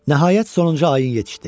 Nəhayət sonuncu ayin yetişdi.